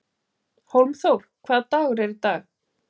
Hólmþór, hvaða dagur er í dag?